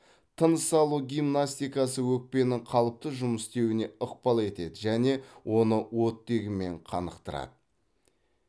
тыныс алу гимнастикасы өкпенің қалыпты жұмыс істеуіне ықпал етеді және оны оттегімен қанықтырады